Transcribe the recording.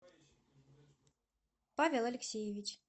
павел алексеевич